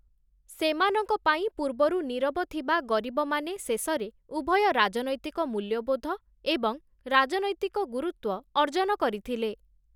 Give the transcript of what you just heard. ସେମାନଙ୍କ ପାଇଁ, ପୂର୍ବରୁ ନୀରବ ଥିବା ଗରିବମାନେ ଶେଷରେ ଉଭୟ ରାଜନୈତିକ ମୂଲ୍ୟବୋଧ ଏବଂ ରାଜନୈତିକ ଗୁରୁତ୍ୱ ଅର୍ଜନ କରିଥିଲେ ।